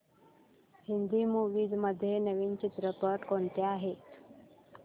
Hindi movies मध्ये नवीन चित्रपट कोणते आहेत